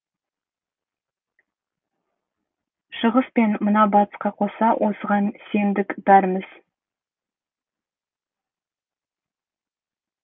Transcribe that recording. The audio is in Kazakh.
шығыс пен мына батысқа қоса осыған сендік бәріміз